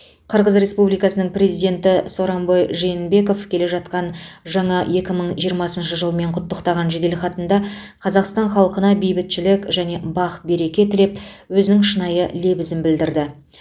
қырғыз республикасының президенті сооронбай жээнбеков келе жатқан жаңа екі мың жиырмасыншы жылмен құттықтаған жеделхатында қазақстан халқына бейбітшілік және бақ береке тілеп өзінің шынайы лебізін білдірді